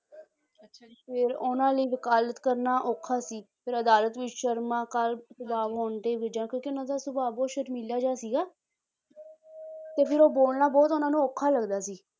ਫਿਰ ਉਹਨਾਂ ਲਈ ਵਕਾਲਤ ਕਰਨਾ ਔਖਾ ਸੀ ਫਿਰ ਅਦਾਲਤ ਵਿੱਚ ਸ਼ਰਮਾ ਕਿਉਂਕਿ ਉਹਨਾਂ ਦਾ ਸੁਭਾਅ ਬਹੁਤ ਸ਼ਰਮੀਲਾ ਜਿਹਾ ਸੀਗਾ ਤੇ ਫਿਰ ਉਹ ਬੋਲਣਾ ਬਹੁਤ ਉਹਨਾਂ ਨੂੰ ਔਖਾ ਲੱਗਦਾ ਸੀ